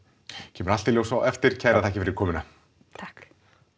kemur allt í ljós á eftir kærar þakkir fyrir komuna takk